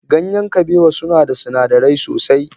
Ganyen kabewa suna da sinadirai sosai.